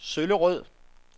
Søllerød